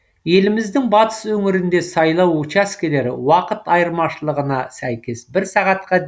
еліміздің батыс өңірінде сайлау учаскелері уақыт айырмашылығына сәйкес бір сағатқа